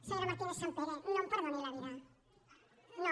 senyora martínezsampere no em perdoni la vida no